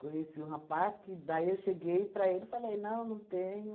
Conheci um rapaz que daí eu cheguei para ele e falei, não, não tenho.